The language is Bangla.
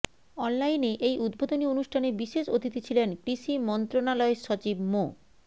অনলাইনে এই উদ্বোধনী অনুষ্ঠানে বিশেষ অতিথি ছিলেন কৃষি মন্ত্রণালয়ের সচিব মো